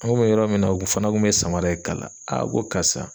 An kun bɛ yɔrɔ min na u ku fana kun bɛ samara e kala ko karisa